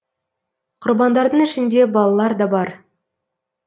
құрбандардың ішінде балалар да бар